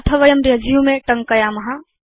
अथ वयं रेसुमे टङ्कयाम